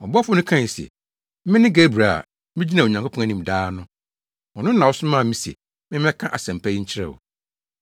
Ɔbɔfo no kae se, “Mene Gabriel a migyina Onyankopɔn anim daa no. Ɔno na ɔsomaa me se memmɛka asɛmpa yi nkyerɛ wo.